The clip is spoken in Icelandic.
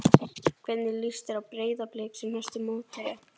Hvernig líst þér á Breiðablik sem næstu mótherja?